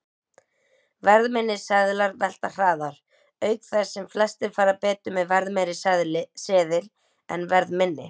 Verðminni seðlar velta hraðar, auk þess sem flestir fara betur með verðmeiri seðil en verðminni.